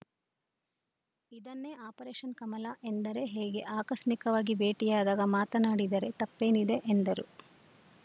ಇದನ್ನೇ ಆಪರೇಷನ್‌ ಕಮಲ ಎಂದರೆ ಹೇಗೆ ಆಕಸ್ಮಿಕವಾಗಿ ಭೇಟಿಯಾದಾಗ ಮಾತಾಡಿದರೆ ತಪ್ಪೇನಿದೆ ಎಂದರು